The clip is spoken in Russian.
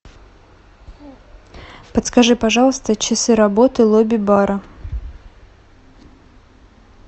подскажи пожалуйста часы работы лобби бара